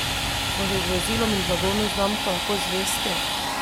Smo si z vozilom in blagovno znamko lahko zvesti?